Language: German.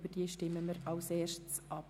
Über diese stimmen wir zuerst ab.